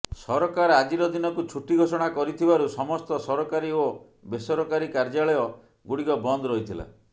ସରକାର ଆଜିର ଦିନକୁ ଛୁଟି ଘୋଷଣା କରିଥିବାରୁ ସମସ୍ତ ସରକାରୀ ଓ ବେସରକାରୀ କାର୍ଯ୍ୟାଳୟ ଗୁଡିକ ବନ୍ଦ ରହିଥିଲା